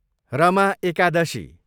Rama Ekadashi